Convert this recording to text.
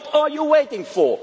What are you waiting for?